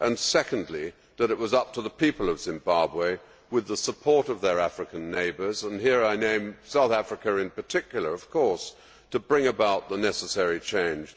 Secondly, that it was up to the people of Zimbabwe, with the support of their African neighbours and here I name South Africa in particular of course to bring about the necessary change.